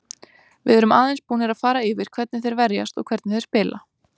Við erum aðeins búnir að fara yfir hvernig þeir verjast og hvernig þeir spila.